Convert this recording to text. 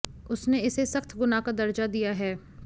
उसने इसे सख्त गुनाह का दर्जा दिया है